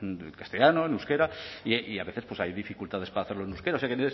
en castellano en euskera y a veces pues hay dificultades para hacerlo en euskera o sea que